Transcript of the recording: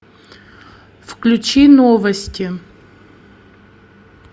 включи новости